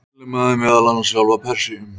Hann innlimaði meðal annars sjálfa Persíu.